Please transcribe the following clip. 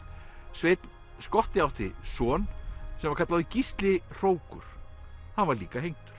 sveinn skotti átti son sem var kallaður Gísli hrókur hann var líka hengdur